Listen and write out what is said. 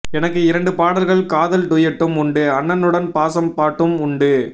எனக்கு இரண்டு பாடல்கள் காதல் டூயட்டும் உண்டு அண்ணனுடன் பாசப் பாட்டும் உண்டு